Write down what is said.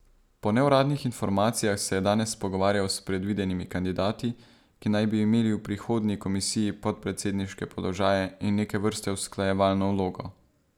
Po neuradnih informacijah se je danes pogovarjal s predvidenimi kandidati, ki naj bi imeli v prihodnji komisiji podpredsedniške položaje in neke vrste usklajevalno vlogo.